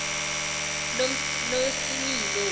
nosimilo